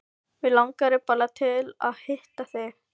Mig langaði bara til að hitta þig.